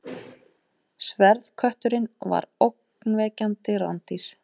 Sverðkötturinn var ógnvekjandi rándýr.